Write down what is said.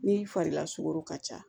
Ni fari lasugɔro ka ca